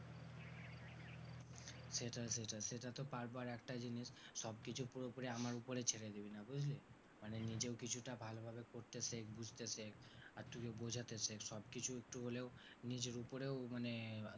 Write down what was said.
সেটাই সেটাই সেটা তো পারবো, আর একটা জিনিস সবকিছু পুরোপুরি আমার ওপরে ছেড়ে দিবি না বুঝলি, মানে নিজেও কিছুটা ভালোভাবে করতে শেখ বুঝতে শেখ আর তুইও বোঝাতে শেখ সব কিছু একটু হলেও নিজের ওপরেও মানে,